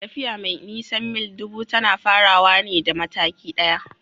Tafiya mai nisan mil ɗubu tana farawa da mataki ɗaya.